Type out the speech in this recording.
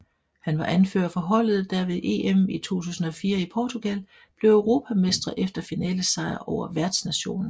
Han var anfører for holdet der ved EM i 2004 i Portugal blev europamestre efter finalesejr over værtsnationen